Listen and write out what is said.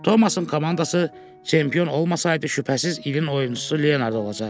Tomasın komandası çempion olmasaydı, şübhəsiz ilin oyunçusu Leonard olacaqdı.